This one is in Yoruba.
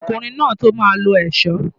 Ọmọkùnrin máa tó máa lo ẹ̀ṣọ́.